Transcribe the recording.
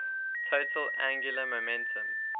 total angular momentum